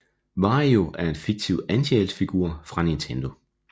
Wario er en fiktiv antihelt figur fra Nintendo